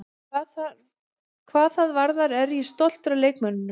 Hvað það varðar er ég stoltur af leikmönnunum.